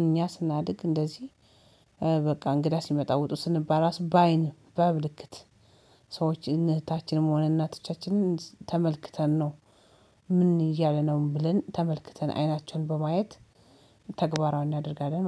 እኛ ስናድግ እንደዚህ በቃ እንግዳ ሲመጣ ውጡ ስንባል እራሱ በአይን በምልክት ሰዎች እህታችንም ሆነ እናቶቻችንን ተመልክተን ነው። ምን እያለ ነው ብለን ተመልክተን አይናቸውን በማየት ተግባራዊ እናደርጋለን